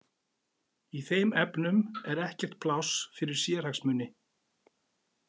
Í þeim efnum er ekkert pláss fyrir sérhagsmuni.